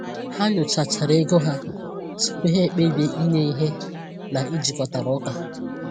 Ha nyochachara ego ha tupu ha kpebie inye ihe na-ejikọtara ụka.